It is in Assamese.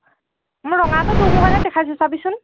মোৰ ৰঙাটো তোৰ mobile ত দেখাইছে, চাবিচোন